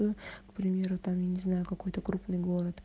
примеры там я не знаю какой-то крупный город